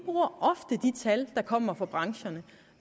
tal der kommer fra brancherne